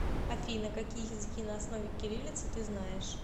афина какие языки на основе кириллицы ты знаешь